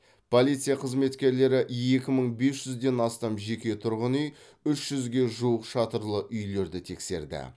полиция қызметкерлері екі мың бес жүзден астам жеке тұрғын үй үш жүзге жуық шатырлы үйлерді тексерді